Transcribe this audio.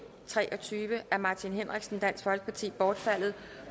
tre og tyve af martin henriksen bortfaldet